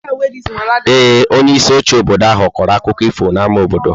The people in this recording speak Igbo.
Ee, onyeisi oche obodo ahụ kọrọ akụkọ ifo n'ámá obodo.